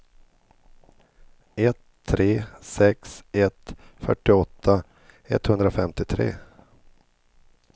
ett tre sex ett fyrtioåtta etthundrafemtiotre